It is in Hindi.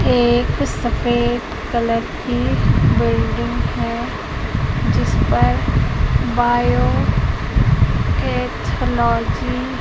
एक सफेद कलर की बिल्डिंग है जिसपर बायो पैथोलॉजी --